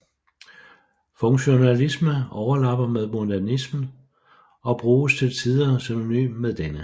Funktionalisme overlapper med modernismen og bruges til tider synonymt med denne